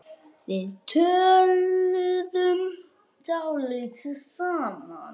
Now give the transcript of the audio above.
Við töluðum dálítið saman.